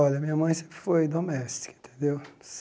Olha, minha mãe sempre foi doméstica, entendeu?